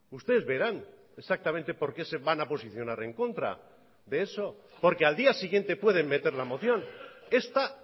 ustedes verán exactamente por qué se van a posicionar en contra de eso porque al día siguiente pueden meter la moción esta